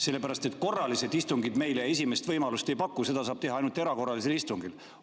Sellepärast, et korralised istungid meile esimest võimalust ei paku, seda saab teha ainult erakorralisel istungil.